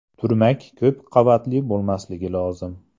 Turmak ko‘p qavatli bo‘lmasligi lozim.